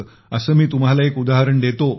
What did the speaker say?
असं मी तुम्हाला एक उदाहरण देतो